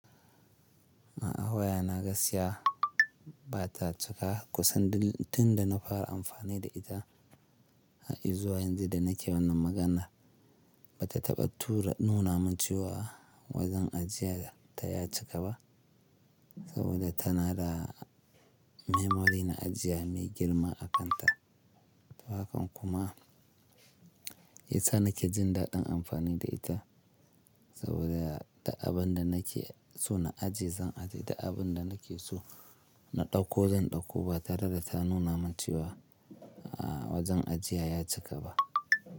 A a waya na gaskiya ba ta cika kusan tun da na fara amfani da ita. Izuwa yanzu da nake wannan magana ba ta taɓa tura nunamin cewa wajen ajiyan ta ya cika ba saboda tana da memory na ajiya mai girma a kanta. Haka kuma yasa nake jin daɗin amfani da ita saboda duk abin da nake so na ajiye zan ajiye, duk abin da nake so na ɗauko zan ɗauko ba tare da ta nunamin cewa wajen ajiya ya cika ba.